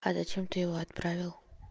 а зачем ты его отправил